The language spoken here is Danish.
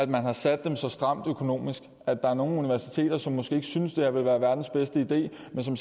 man har sat dem så stramt økonomisk at der er nogle universiteter som måske ikke synes at det her vil være verdens bedste idé men som